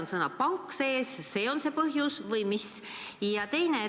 Kas sõna "pank" on see põhjus või mis?